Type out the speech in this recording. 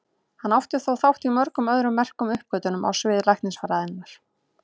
Hann átti þó þátt í mörgum öðrum merkum uppgötvunum á sviði læknisfræðinnar.